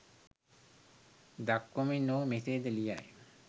දක්වමින් ඔහු මෙසේ ද ලියයි